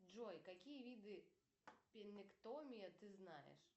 джой какие виды пемектомия ты знаешь